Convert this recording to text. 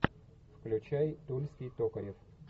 включай тульский токарев